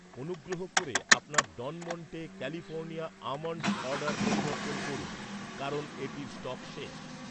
অনুগ্রহ করে আপনার ডন মন্টে ক্যালিফোর্নিয়া আমন্ড্সের অর্ডার পরিবর্তন করুন কারণ এটির স্টক শেষ